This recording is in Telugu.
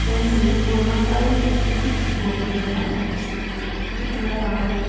రెండు పూర్వకాలం కట్టిన గోపురాల్లా కనిపిస్తున్నాయి అక్కడక్కడ రాళ్లు.